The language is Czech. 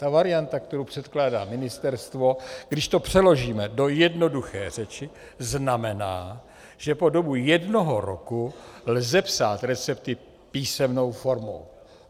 Ta varianta, kterou předkládá Ministerstvo, když to přeložíme do jednoduché řeči, znamená, že po dobu jednoho roku lze psát recepty písemnou formou.